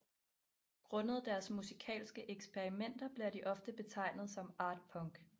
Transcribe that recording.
Grundet deres musikalske eksperimenter bliver de ofte betegnet som art punk